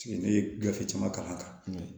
Ne ye gafe caman kalan